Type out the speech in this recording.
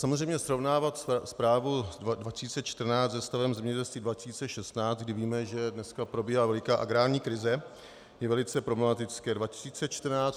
Samozřejmě srovnávat zprávu 2014 se stavem zemědělství 2016, kdy víme, že dneska probíhá veliká agrární krize, je velice problematické.